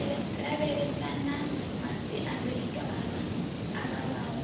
lavhelesana na masiandoitwa a vhavhaho